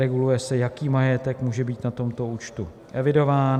Reguluje se, jaký majetek může být na tomto účtu evidován.